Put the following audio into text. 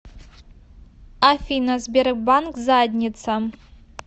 афина сбербанк задница